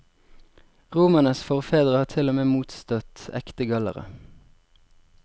Romernes forfedre har til og med motstått ekte gallere.